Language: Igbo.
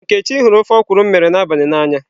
Nkechi huru ofe okwụrụ m mere n'abali na anya.